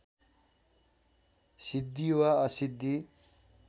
सिद्धि वा असिद्धि